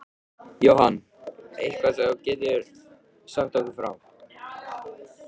Jóhann: Eitthvað sem þú getur sagt okkur frá?